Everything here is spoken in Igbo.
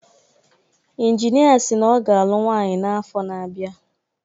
Injinia si na ọ ga-alụ nwaanyi n’afọ na-abịa